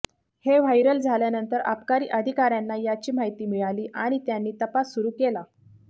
हे व्हायरल झाल्यानंतर अबकारी अधिकाऱ्यांना याची माहिती मिळाली आणि त्यांनी तपास सुरू केला